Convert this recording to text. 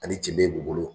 Ani ceden bulu